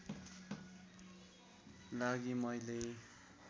लागि मैले